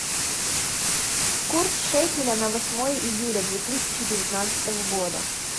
курс шекеля на восьмое июля две тысячи девятнадцатого года